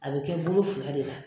A bɛ kɛ bolo fila de la.